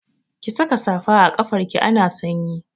Ki saka safa a kafarki ana sanyi!